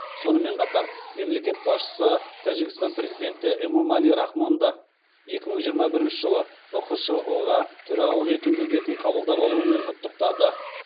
сонымен қатар мемлекет басшысы тәжікстан президенті эмомали рахмонды екі мың жиырма бірінші жылы ұқшұ ға төрағалық ету міндетін қабылдап алуымен құттықтады